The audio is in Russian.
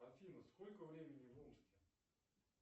афина сколько времени в омске